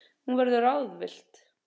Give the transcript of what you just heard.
Hún verður ráðvillt.